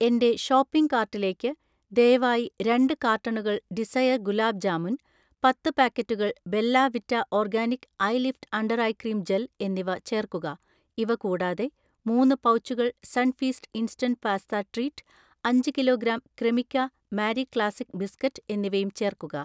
എന്‍റെ ഷോപ്പിംഗ് കാർട്ടിലേക്ക് ദയവായി രണ്ട് കാർട്ടണുകൾ ഡിസയർ ഗുലാബ് ജാമുൻ, പത്ത് പാക്കറ്റുകൾ Bella Vita organic eye lift under eye cream gel എന്നിവ ചേർക്കുക. ഇവ കൂടാതെ, മൂന്ന് പൗച്ചുകൾ സൺഫീസ്റ്റ് ഇൻസ്റ്റന്റ് പാസ്ത ട്രീറ്റ്, അഞ്ച് kilo gram Cremica Marie Classic biscuit എന്നിവയും ചേർക്കുക.